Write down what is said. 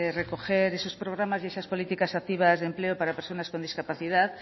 recoger esos programas y esas políticas activas de empleo para personas con discapacidad